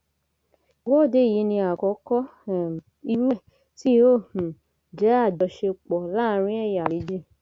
ìwọde yìí ni àkókò um irú ẹ tí yóò um jẹ àjọṣepọ láàrin ẹyà méjì